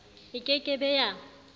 e ke ke be ya